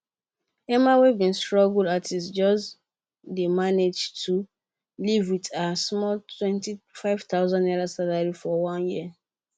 emma wey be struggling artist just d manage to live wit her small 25000 salary for one year